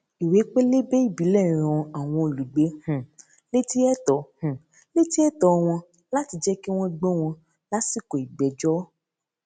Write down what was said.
ìwé pélébé ìbílẹ rán àwọn olùgbé um létí ẹtọ um létí ẹtọ wọn láti jẹ kí wọn gbọ wọn lásìkò ìgbẹjọ